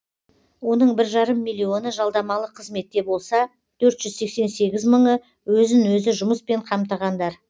оның бір жарым миллионы жалдамалы қызметте болса төрт жүз сексен сегіз мыңы өзін өзі жұмыспен қамтығандар